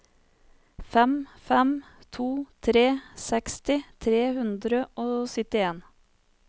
fem fem to tre seksti tre hundre og syttien